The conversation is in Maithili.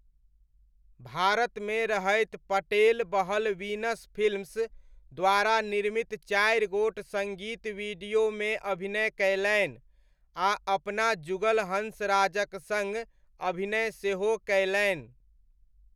भारतमे रहैत पटेल बहल वीनस फिल्म्स द्वारा निर्मित चारि गोट सङ्गीत वीडियोमे अभिनय कयलनि आ अपना जुगल हंसराजक सङ्ग अभिनय सेहो कयलनि।